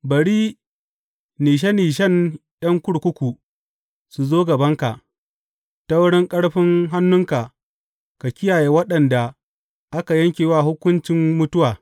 Bari nishe nishen ’yan kurkuku su zo gabanka; ta wurin ƙarfin hannunka ka kiyaye waɗanda aka yanke wa hukuncin mutuwa.